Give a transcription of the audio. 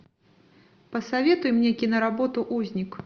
посоветуй мне киноработу узник